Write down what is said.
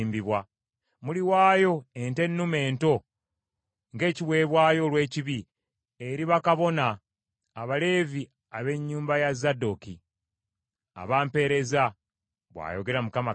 Muliwaayo ente ennume ento ng’ekiweebwayo olw’ekibi eri bakabona Abaleevi ab’ennyumba ya Zadooki, abampeereza bw’ayogera Mukama Katonda.